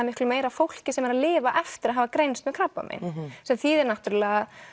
miklu meira af fólki sem er að lifa eftir að hafa greinst með krabbamein sem þýðir náttúrulega